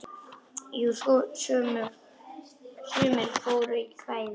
Jú, sumir fóru í kvæðin.